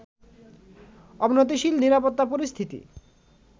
অবনতিশীল নিরাপত্তা পরিস্থিতি